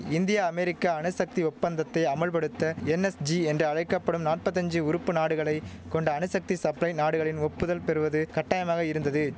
India America அணுசக்தி ஒப்பந்தத்தை அமல்படுத்த என்எஸ்ஜி என்று அழைக்க படும் நாப்பத்தஞ்சு உறுப்பு நாடுகளை கொண்ட அணுசக்தி சப்ளை நாடுகளின் ஒப்புதல் பெறுவது கட்டாயமாக இருந்தது